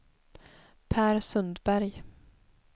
Pär Sundberg